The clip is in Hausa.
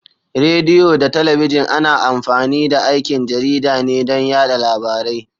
Rediyo da talabijin ana amfani da aikin jarida ne don yada labarai.